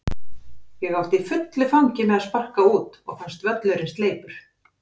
Ég átti í fullu fangi með að sparka út og fannst völlurinn sleipur.